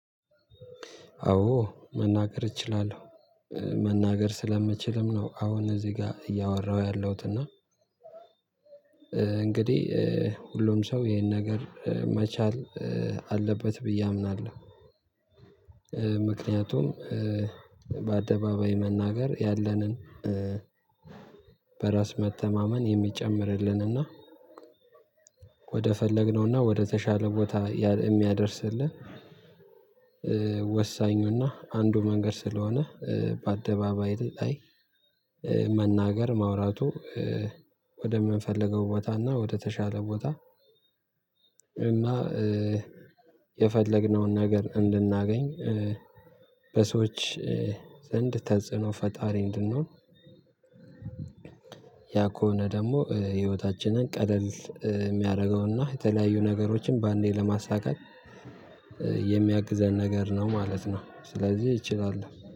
አዎ መናገር እችላለሁ። መናገር ስለምችልም ነው አሁን እዚህ ጋር እያወራሁ ያለሁት እና እንግዲህ ሁሉም ሰው ይሄን ነገር መቻል አለበት ብዬ አምናለሁ። ምክንያቱም በአደባባይ መናገር ያለንን በራስ መተማመን የሚጨምርልን እና ወደ ፈለግነውና ወደ ተሻለ ቦታ የሚያደርስልህ ወሳኙና አንዱ መንገድ ስለሆነ በአደባባይ ላይ መናገር ማውራቱ ወደምንፈልገው ቦታና ወደተሻለ ቦታ እና የፈለግነውን ነገር እንድናገኝ በሰዎች ዘንድ ተጽዕኖ ፈጣሪ እንድንሆን ያ ከሆነ ደግሞ ህይወታችንን ቀለል የሚያደርገውና የተለያዩ ነገሮችን በአንዴ ለማሳካት የሚያግዘን ነገር ነው ማለት ነው ስለዚህ እችላለሁ